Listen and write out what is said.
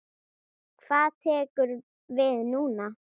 Hvað tekur við núna?